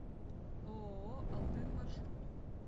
ооо алтын маршрут